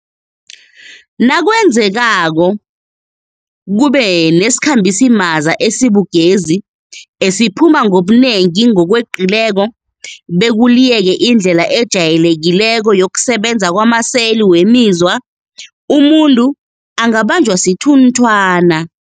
Nakwenzekako kube nesikhambisimaza esibugezi esiphuma ngobunengi ngokweqileko bekuliyeke indlela ejayelekileko yokusebenza kwamaseli wemizwa, umuntu angabanjwa sithunthwana.